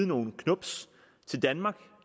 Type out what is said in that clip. nogle knubs